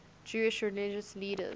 jewish religious leaders